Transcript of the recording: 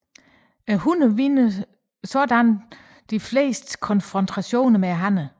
Hunner vinder således de fleste konfrontationer med hanner